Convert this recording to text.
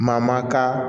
Mamaka